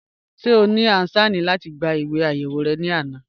Ṣẹ̀ ọ ní ànṣẹ́ni láti gbá ìwé ayéwò rẹ lána?